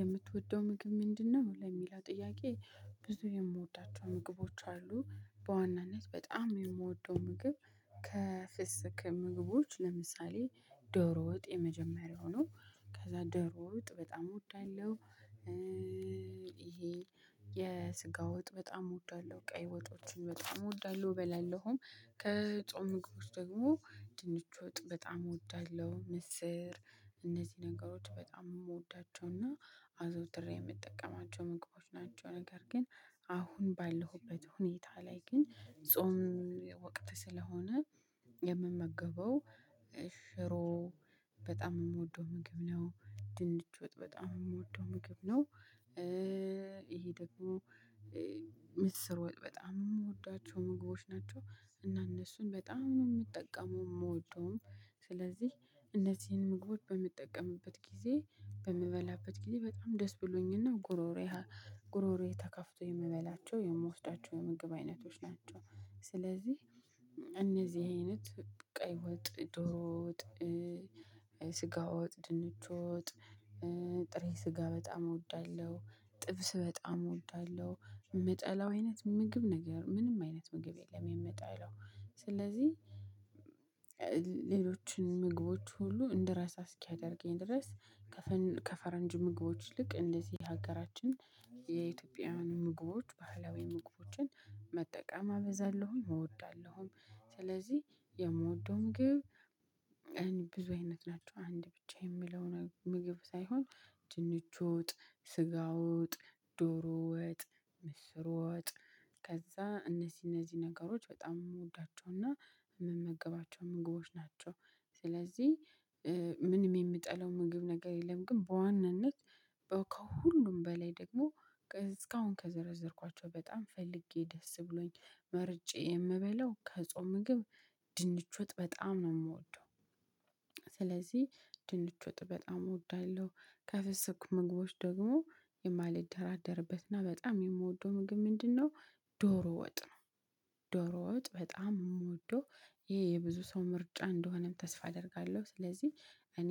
የምትወደው ምግብ ምንድነው? ለሚለው ጥያቄ ብዙ የምወዳቸው ምግቦች አሉ በዋናነት በጣም የምወደው ምግብ። ከፍስክ ምግቦች ለምሳሌ ዶሮ ወጥ የመጀመሪያው ነው ከዛ ዶሮ ወጥ በጣም እወዳለሁ። ይሄ የስጋ ወጥ በጣም እወዳለሁ ቀይ ወጦችን በጣም እወዳለሁ እበላለሁም ከጾም ምግቦች ደግሞ ድንች ወጥ በጣም እወዳለሁ። ምስር እነዚህ ነገሮች በጣም የምወዳቸውና አዘውትሬ የምጠቀማቸው ምግቦች ናቸው። ነገር ግን አሁን ባለሁበት ሁኔታ ላይ ግን ጾም ወቅት ስለሆነ የምመገበው ሽሮ በጣም የምወደው ምግብ ነው። ድንች ወጥ በጣም የምወደው ምግብ ነው። ይሄ ደግሞ ምስር ወጥ በጣም የምወዳቸው ምግቦች ናቸው። እና እነሱን በጣም ነው የምጠቀመው የምወደውም ስለዚህ እነዚህን ምግቦች በምጠቀምበት ጊዜ በምበላበት ጊዜ በጣም ደስ ብሎኝና ጉሮሮዬ ጉሮሮዬ ተከፍቶ የምበላቸው የምወስዳቸው የምግብ አይነቶች ናቸው። ስለዚህ እነዚህ አይነት ቀይ ወጥ ዶሮ ወጥ። ስጋ ወጥ ድንች ወጥ። ጥሬ ስጋ በጣም እወዳለሁ ጥብስ በጣም እወዳለሁ። የምጠላው አይነት ምግብ ነገር ምንም አይነት ምግብ የለም። የምጠላው ስለዚህ ሌሎችን ምግቦች ሁሉ እንደራሳ እስኪያደርገኝ ድረስ ከፈረንጅ ምግቦች ልክ እንደዚህ ሀገራችን የኢትዮጵያውያን ምግቦች ባህላዊ ምግቦችን መጠቀም አበዛለሁኝ እወዳለሁኝ። ስለዚህ የምወደው ምግብ ብዙ አይነት ናቸው አንድ ብቻ የሚለው ምግብ ሳይሆን። ድንች ወጥ ስጋወጥ ዶሮወጥ ምስር ወጥ ከዛ እነዚህ እነዚህ ነገሮች በጣም የምወዳቸውና የምመገባቸው ምግቦች ናቸው። ስለዚህ ምንም የምጠላው ምግብ ነገር የለም። ግን በዋነነት በውከው ከሁሉም በላይ ደግሞ እስካሁን ከዘረዘርኳቸው በጣም ፈልጌ ደስ ብሎኝ መርጬ የምበላው ከጾም ምግብ ድንች ወጥ በጣም ነው የምወደው። ስለዚህ ድንች ወጥ በጣም እወዳለሁ። ከፍስኩ ምግቦች ደግሞ የማልደራደርበትና በጣም የምወደው ምግብ ምንድነው? ዶሮ ወጥ ነው። ዶሮ ወጥ በጣም የምወደው ይሄ የብዙ ሰው ምርጫ እንደሆነም ተስፋ አደርጋለሁ። ስለዚህ እኔ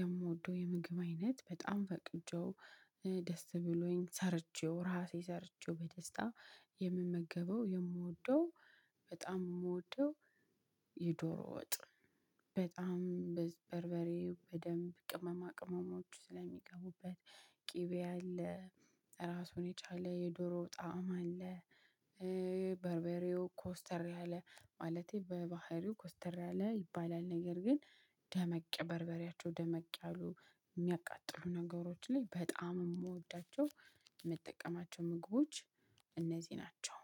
የምወደው የምግብ አይነት በጣም ፈቅጄው ደስ ብሎኝ ሰርቼው ራሴ ሰርቼው በደስታ የምመገበው የምወደው በጣም የምወደው የዶሮ ወጥ በጣም በበርበሬ በደንብ ቅመማ ቅመሞች ስለሚገቡበት ቅቤ አለ ራሱን የቻለ የዶሮ ጣዕም አለ። በርበሬው ኮስተር ያለ ማለቴ በባህሪው ኮስተር ያለ ይባላል። ነገር ግን ደመቅ በርበሬያቸው ደመቅ ያሉ የሚያቃጥሉ ነገሮች ላይ በጣም የምወዳቸው የምጠቀማቸው ምግቦች እነዚህ ናቸው